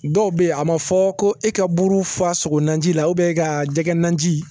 Dɔw bɛ yen a ma fɔ ko e ka buru faa sogo na ji la ka jɛgɛ nanji